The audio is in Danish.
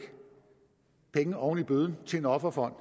penge oven i bøden til en offerfond